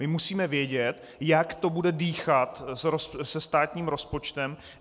My musíme vědět, jak to bude dýchat se státním rozpočtem.